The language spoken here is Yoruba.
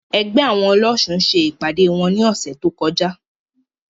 Ẹgbẹ́ àwọn ọlọ́ṣun ṣe ìpàdé wọn ní ọ̀sẹ̀ tó kọjá.